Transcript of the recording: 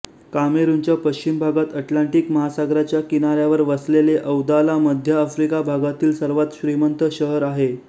कामेरूनच्या पश्चिम भागात अटलांटिक महासागराच्या किनाऱ्यावर वसलेले दौआला मध्य आफ्रिका भागातील सर्वात श्रीमंत शहर आहे